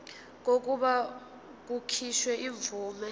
kokuba kukhishwe imvume